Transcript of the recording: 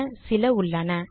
என சில உள்ளன